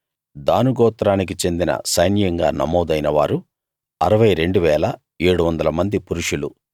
దాను గోత్రానికి చెందిన సైన్యంగా నమోదైన వారు 62 700 మంది పురుషులు